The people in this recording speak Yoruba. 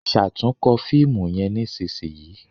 ṣatunkọ fíìmù yén nísìsiyìí!